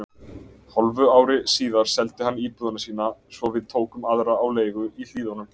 Hálfu ári síðar seldi hann íbúðina sína svo við tókum aðra á leigu í Hlíðunum.